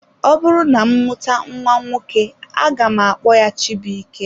Ọbụrụ na m mụta nwa nwoke aga m akpọ ya Chibuike.